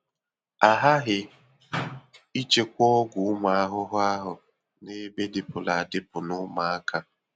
A ghaghị ịchekwa ọgwụ ụmụ ahụhụ ahụ n'ebe dịpụrụ adịpụ na ụmụaka.